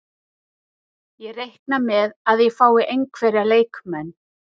Ég reikna með að ég fái einhverja leikmenn.